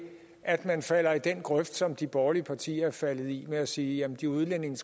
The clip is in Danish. at man falder i den grøft som de borgerlige partier er faldet i ved at sige at de udlændinge